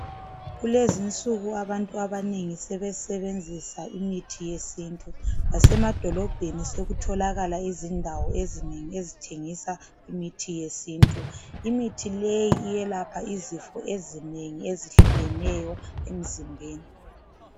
Kulezinsu abantu abanengi sebesebenzisa imithi yesintu lasemadolobheni sokutholakala abantu abathengisa imiithi yesintu, imithi leyi yelapha izifo ezinengi ezehlukeneyo emzimbeni